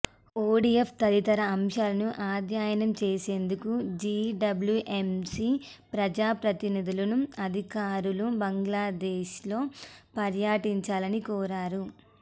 ODF తదితర అంశాలను అధ్యయనం చేసేందుకు జిడబ్ల్యుఎంసి ప్రజా ప్రతినిధులు అధికారులు బంగ్లాదేశ్ లో పర్యటించాలని కోరారు